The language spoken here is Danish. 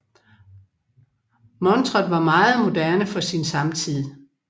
Montret var meget moderne for sin samtid